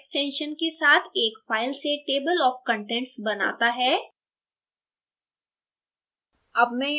latex toc extension के साथ एक file से table of contents बनाता है